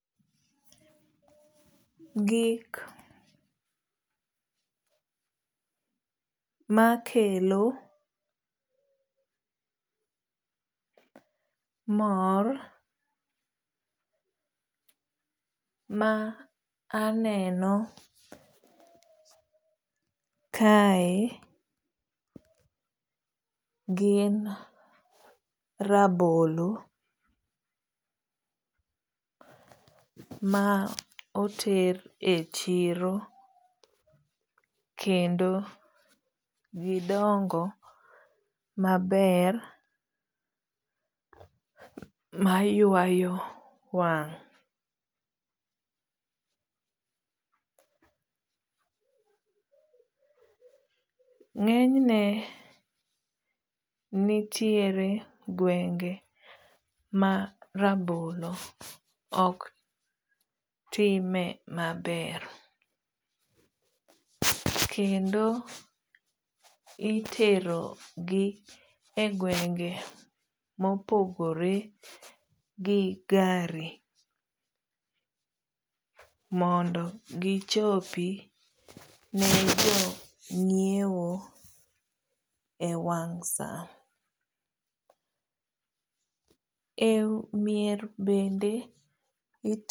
Gik makelo mor maaneno kae gin rabolo maoter e chiro kendo gidongo maber maywayo wang. ngenyne nitiere gwenge ma rabolo ok time maber kendo itero gi e gwenge mopogore gi gari mondo gichopi ne jongiewo e wang saa. e mier bende